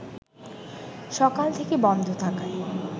সকাল থেকে বন্ধ থাকায়